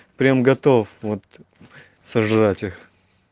прям готов вот сожрать их